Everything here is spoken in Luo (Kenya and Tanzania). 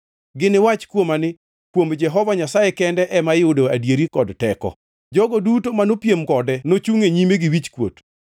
Giniwach kuoma ni, ‘Kuom Jehova Nyasaye kende ema iyudoe adieri kod teko.’ ” Jogo duto manopiem kode nochungʼ e nyime gi wichkuot.